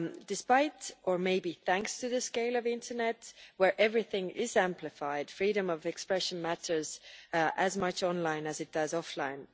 Despite or maybe thanks to the scale of the internet, where everything is amplified, freedom of expression matters as much online as it does offline.